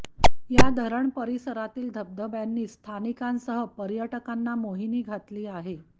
या धरण परिसरातील धबधब्यांची स्थानिकांसह पर्यटकांना मोहिनी घातली आहे